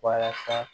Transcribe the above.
Walasa